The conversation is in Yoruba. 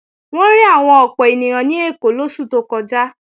Wọ́n rí àwọn ọ̀pọ̀ ènìyàn ní Èkó lóṣù tó kọjá